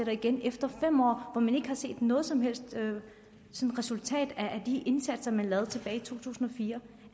igen efter fem år hvor man ikke har set noget som helst resultat af de indsatser man lavede i to tusind og fire